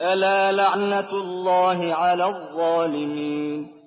أَلَا لَعْنَةُ اللَّهِ عَلَى الظَّالِمِينَ